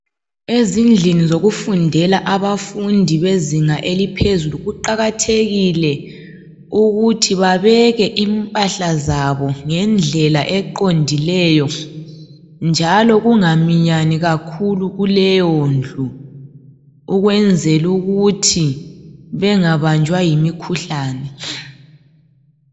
Ezindlini zokufundela abafundi bezinga eliphezulu. Kuqakathekile ukuthii babeke impahla zabo ngendlela eqondileyo, njalo kungaminyani kakhulu kuleyondlu, ukwenzela ukuthi bengabanjwa yimikhuhlane.